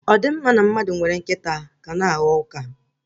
Ọ di mma na mmadụ nwere nkịta ka na-aghọ ụka?